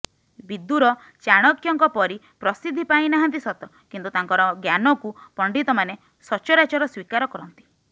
ବିଦୁର ଚାଣକ୍ୟଙ୍କ ପରି ପ୍ରସିଦ୍ଧି ପାଇ ନାହାନ୍ତି ସତ କିନ୍ତୁ ତାଙ୍କର ଜ୍ଞାନକୁ ପଣ୍ଡିତମାନେ ସଚରାଚର ସ୍ୱୀକାର କରନ୍ତି